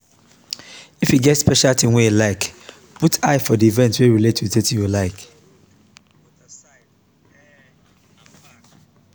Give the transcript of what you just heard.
if you get special thing wey you dey like put eye for di event wey relate with wetin you like